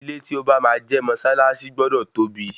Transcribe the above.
Ilé tí o bá máa jẹ́ mọ́sálásí gbọdọ tóbi.